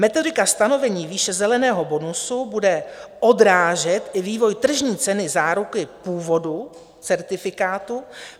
Metodika stanovení výše zeleného bonusu bude odrážet i vývoj tržní ceny záruky původu certifikátu.